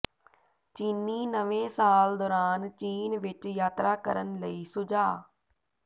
ਚੀਨੀ ਨਵੇਂ ਸਾਲ ਦੌਰਾਨ ਚੀਨ ਵਿੱਚ ਯਾਤਰਾ ਕਰਨ ਲਈ ਸੁਝਾਅ